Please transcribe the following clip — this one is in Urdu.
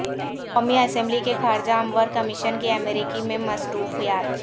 قومی اسمبلی کے خارجہ امور کمیشن کی امریکہ میں مصروفیات